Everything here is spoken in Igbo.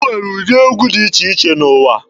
E nwere ụdị egwu dị iche iche n'ụwa.